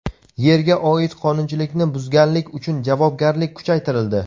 Yerga oid qonunchilikni buzganlik uchun javobgarlik kuchaytirildi.